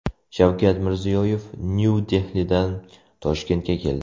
Shavkat Mirziyoyev Nyu-Dehlidan Toshkentga keldi.